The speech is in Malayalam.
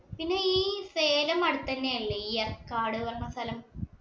പിന്നെ ഈ സേലം അടുത്ത് തന്നെയല്ലേ? ഏര്‍ക്കാട് എന്ന് പറഞ്ഞ സ്ഥലം.